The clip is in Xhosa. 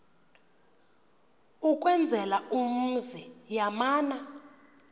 ukwenzela umzi yamana